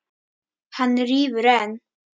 Hann rífur enn.